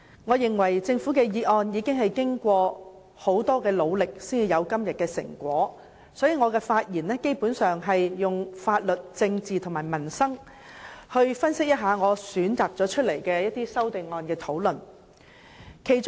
我認為政府的《條例草案》是經過多番努力才有今天的成果，所以我的發言基本上會從法律、政治及民生的角度分析我選出來討論的修正案。